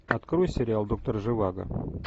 открой сериал доктор живаго